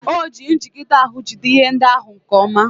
O ji njigide ahụ jide ihe ndị ahụ nke ọma.